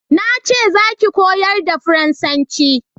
Na ce za ki koyar da faransanci!